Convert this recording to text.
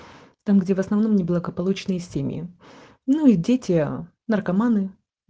где в основном неблагополучные семьи ну и дети наркоманы